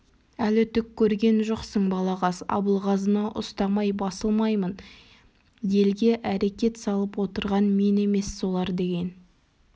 әлі түк көрген жоқсың балағаз абылғазыны ұстамай басылмаймын елге әрекет салып отырған мен емес солар деген